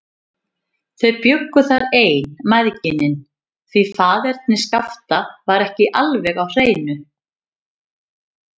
Þau bjuggu þar ein, mæðginin, því faðerni Skapta var ekki alveg á hreinu.